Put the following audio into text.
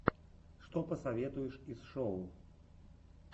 что посоветуешь из шоу